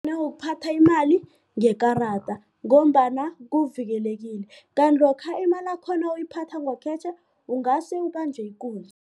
Nangokuphatha imali ngekarada ngombana kuvikelekile kanti lokha imalakho nawuyiphatha ngokhetjhe ungase ubanjwe ikunzi.